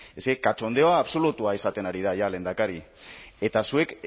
eske katxondeo absolutua izaten ari da lehendakari eta zuek